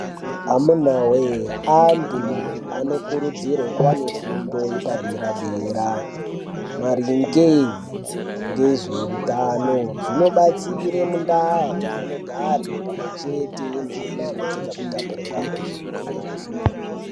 Amuna woye anhu anokurudzirwe kuwane fundo yepaderadera maringe ngezveutano zvinobatsire mundau dzaanogare pamwechete nekuzvichengetedza kutapurirwana kwezvirwere.